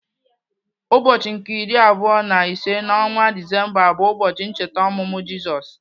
Ụbọchị nke iri abụọ na ise n'ọnwa Disemba bu ụbọchị ncheta ọmụmụ Jizọs.